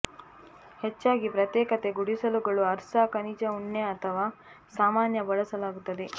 ಹೆಚ್ಚಾಗಿ ಪ್ರತ್ಯೇಕತೆ ಗುಡಿಸಲುಗಳು ಅರ್ಸಾ ಖನಿಜ ಉಣ್ಣೆ ಅಥವಾ ಸಾಮಾನ್ಯ ಬಳಸಲಾಗುತ್ತದೆ